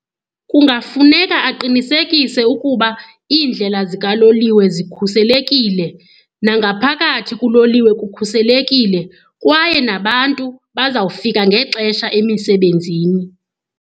Kungafuneka aqinisekise ukuba iindlela zikaloliwe zikhuselekile, nangaphakathi kuloliwe kukhuselekile kwaye nabantu bazawufika ngexesha emisebenzini.